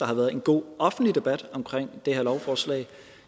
har været en god offentlig debat omkring det her lovforslag